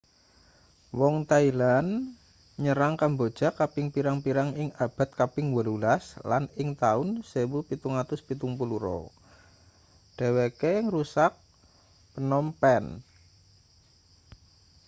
wong thailand nyerang kamboja kaping pirang-pirang ing abad kaping 18 lan ing taun 1772 dheweke ngrusak phnom phen